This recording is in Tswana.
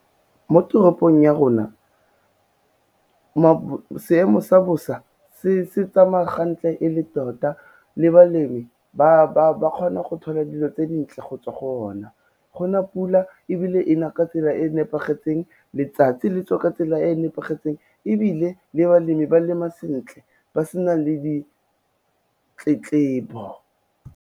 Mo toropong ya rona, seemo sa bosa se tsamaya gantle e le tota, le balemi ba kgona go thola dilo tse dintle go tswa go ona, gona pula ebile e na ka tsela e nepagetseng, letsatsi le tswa ka tsela e e nepagetseng ebile le balemi ba lema sentle ba sena le ditletlebo.